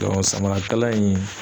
samara kala in